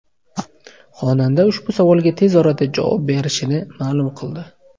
Xonanda ushbu savolga tez orada javob berishini ma’lum qildi.